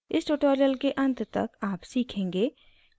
इस ट्यूटोरियल के अंत तक आप सीखेंगे कि